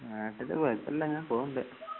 നാട്ടില് കുഴപ്പമില്ലാങ്ങ് പോണ്ട്